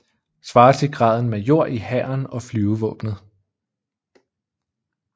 Svarer til graden major i Hæren og Flyvevåbnet